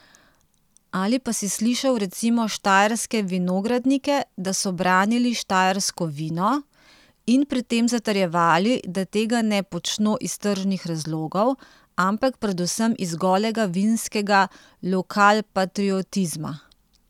Ali pa si slišal recimo štajerske vinogradnike, da so branili štajersko vino in pri tem zatrjevali, da tega ne počno iz tržnih razlogov, ampak predvsem iz golega vinskega lokalpatriotizma.